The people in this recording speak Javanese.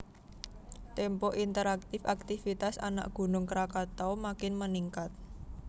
Tempo Interaktif Akitvitas Anak Gunung Krakatau Makin Meningkat